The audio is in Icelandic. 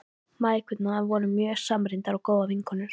Mæðgurnar voru mjög samrýndar og góðar vinkonur.